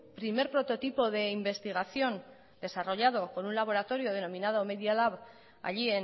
primer prototipo de investigación desarrollado con un laboratorio denominado media leab allí